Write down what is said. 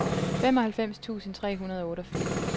femoghalvfems tusind tre hundrede og otteogfirs